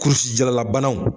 Kurusi jalalabanaw